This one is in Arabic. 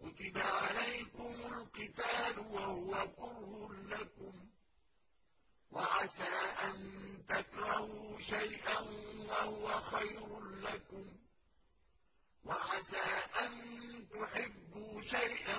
كُتِبَ عَلَيْكُمُ الْقِتَالُ وَهُوَ كُرْهٌ لَّكُمْ ۖ وَعَسَىٰ أَن تَكْرَهُوا شَيْئًا وَهُوَ خَيْرٌ لَّكُمْ ۖ وَعَسَىٰ أَن تُحِبُّوا شَيْئًا